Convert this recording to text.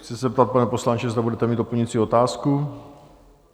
Chci se zeptat, pane poslanče, zda budete mít doplňující otázku?